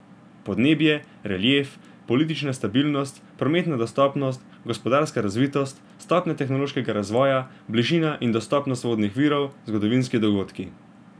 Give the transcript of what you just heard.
Podnebje, relief, politična stabilnost, prometna dostopnost, gospodarska razvitost, stopnja tehnološkega razvoja, bližina in dostopnost vodnih virov, zgodovinski dogodki.